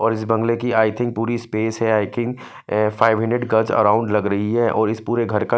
और बगले कि आइथिंग पूरी स्पेस है आइथिंग फाइव मिनट गल्स अराउंड लग रही है और इस प्योर घर का--